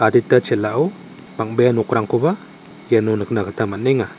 chel·ao bang·bea nokrangkoba iano nikna gita man·enga.